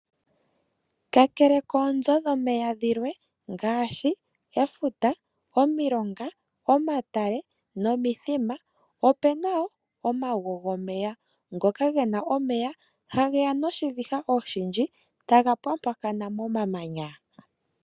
Kakele koozo dhomeya dhimwe ngashi efuta, omilonga, omatale nomithima opena wo omago gomeya ngoka ngena omeya hangeya noshiviha oshindji tanga pwapwakana mamamanya.